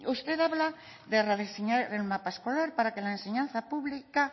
usted habla de rediseñar el mapa escolar para que la enseñanza pública